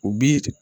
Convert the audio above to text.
U bi